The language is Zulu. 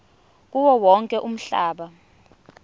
kuwo wonke umhlaba